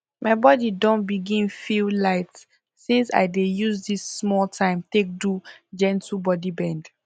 my body don begin feel light since i dey use this small time take do gentle body bend